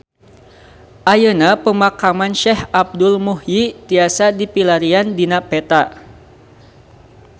Ayeuna Pemakaman Syekh Abdul Muhyi tiasa dipilarian dina peta